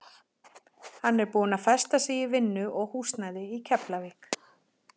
Hann er búinn að festa sig í vinnu og húsnæði í Keflavík.